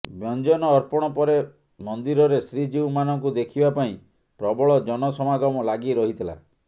ବ୍ୟଞ୍ଜନ ଅର୍ପଣ ପରେ ମନ୍ଦିରରେ ଶ୍ରୀଜୀଉମାନଙ୍କୁ ଦେଖିବା ପାଇଁ ପ୍ରବଳ ଜନସମାଗମ ଲାଗିରହିଥିଲା